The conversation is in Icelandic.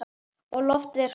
Og loftið er svo ferskt.